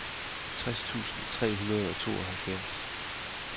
tres tusind tre hundrede og tooghalvfjerds